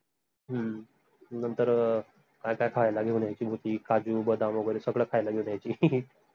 हम्म नंतर काय काय खायला घेऊन यायची काजू, बदाम वगैरे सगड खायला घेऊन यायची